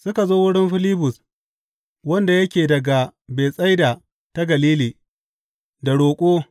Suka zo wurin Filibus, wanda yake daga Betsaida ta Galili, da roƙo.